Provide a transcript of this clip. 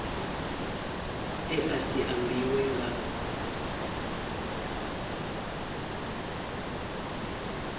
e a si ambiwe nga